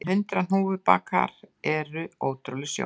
En hundrað hnúfubakar eru ótrúleg sjón